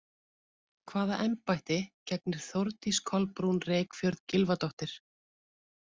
Hvaða embætti gegnir Þórdís Kolbrún Reykfjörð Gylfadóttir?